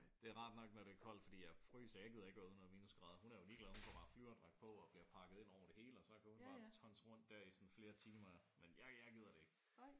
Det er rart nok når det er koldt fordi jeg fryser. Jeg gider ikke være ude når det er minusgrader. Hun er jo ligeglad. Hun får bare flyverdragt på og bliver pakket ind over det hele og så kan hun bare tonse rundt der i sådan flere timer. Men jeg jeg gider det ikke